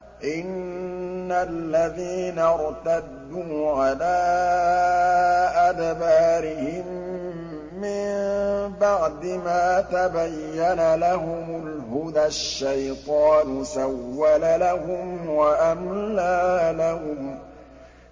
إِنَّ الَّذِينَ ارْتَدُّوا عَلَىٰ أَدْبَارِهِم مِّن بَعْدِ مَا تَبَيَّنَ لَهُمُ الْهُدَى ۙ الشَّيْطَانُ سَوَّلَ لَهُمْ وَأَمْلَىٰ لَهُمْ